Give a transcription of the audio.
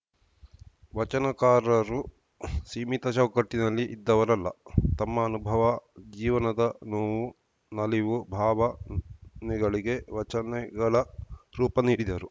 ವಚನಕಾರರು ಸೀಮಿತ ಚೌಕಟ್ಟಿನಲ್ಲಿ ಇದ್ದವರಲ್ಲ ತಮ್ಮ ಅನುಭವ ಜೀವನದ ನೋವು ನಲಿವು ಭಾವನೆಗಳಿಗೆ ವಚನೆಗಳ ರೂಪ ನೀಡಿದರು